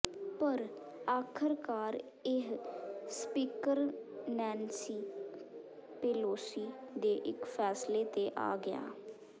ਪਰ ਆਖਰਕਾਰ ਇਹ ਸਪੀਕਰ ਨੈਨਸੀ ਪੇਲੋਸੀ ਦੇ ਇੱਕ ਫੈਸਲੇ ਤੇ ਆ ਗਿਆ